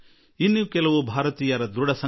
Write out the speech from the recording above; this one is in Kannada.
ಕೆಲವು ಭಾರತೀಯರ ಸಂಕಲ್ಪವಾಗಿದೆ